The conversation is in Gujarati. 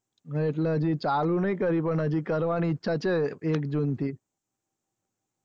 એટલે હજુ ચાલુ નથી કર્યું પણ હાજી કરવાની ઈછા છે. એક જૂન થઈ